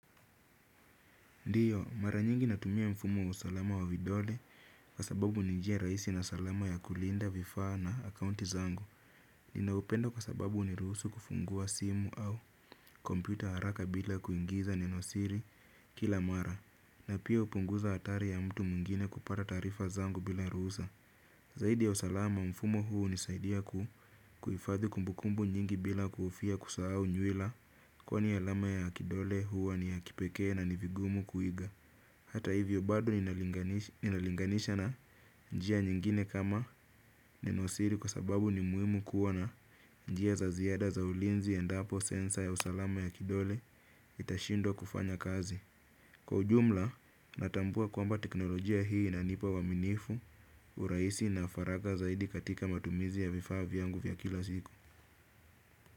Ndiyo, mara nyingi natumia mfumo wa usalama wa vidole kwa sababu ni njia rahisi na salama ya kulinda vifaa na akaunti zangu. Ninaupenda kwa sababu huniruhusu kufungua simu au kompyuta haraka bila kuingiza nenosiri kila mara. Na pia hupunguza hatari ya mtu mwingine kupata taarifa zangu bila ruhusa. Zaidi ya usalama, mfumo huu hunisaidia kuhifadhi kumbukumbu nyingi bila kuhofia kusahau nywila kwani alama ya kidole huwa ni ya kipekee na ni vigumu kuiga. Hata hivyo bado ninalinganisha na njia nyingine kama nenosiri kwa sababu ni muhimu kuwa na njia za ziada za ulinzi endapo sensa ya usalama ya kidole itashindwa kufanya kazi. Kwa ujumla natambua kwamba teknolojia hii inanipa uaminifu, urahisi na faragha zaidi katika matumizi ya vifaa vyangu vya kila siku.